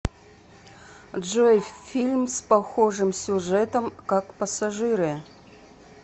джой фильм с похожим сюжетом как пассажиры